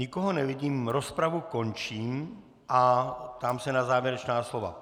Nikoho nevidím, rozpravu končím a ptám se na závěrečná slova.